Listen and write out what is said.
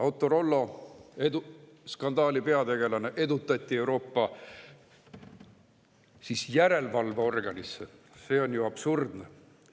Autorollo skandaali peategelane edutati Euroopa järelevalveorganisse – see on ju absurdne.